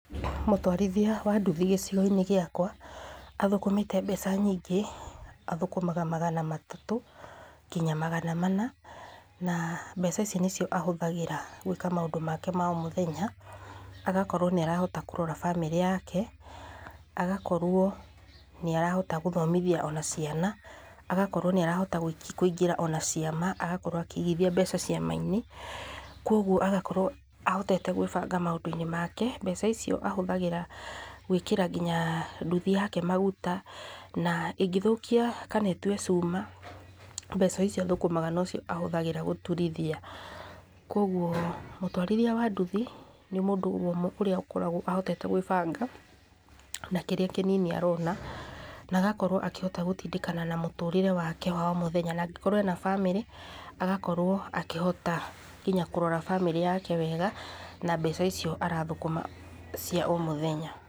Mũtwarithia wa nduthi gĩcigoinĩ gĩakwa athũkũmĩte mbeca nyingĩ athũkũmaga magana matatũ nginya magana mana, na mbeca ici nĩcio ahũthagĩra gwĩka maũndũ make ma omũthenya agakorwo nĩarahota kũrera bamĩrĩ yake, agakorwo nĩarahota kũthomithia ona ciana, agakorwo nĩarahota kũingĩria ona ciama, agakorwo akĩigithia mbeca ciamainĩ, kwoguo agakorwo ahotete kwĩbanga maũndũne make, mbeca icio ahũthagĩra gũĩkĩra nginya nduthi yake maguta na ĩngĩthũkia kana ĩtuĩe cuma mbeca icio athũkũmaga nĩcio agegũturithia ,kwoguo mũtwarithia wa nduthi nĩ mũndũ ũmwe ũrĩa akoragwa ahotete kwĩbanga na kĩrĩa kĩnini arona na agakorwo akĩhota gũtindĩkana na mũtũrĩre wake owaomũthenya na angĩkorwo ena bamĩrĩ agakorwo akĩhota nginya kũrora bamĩrĩ yake wega na mbeca icio arathũkũma cia ũmũthenya.